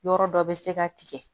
Yɔrɔ dɔ bɛ se ka tigɛ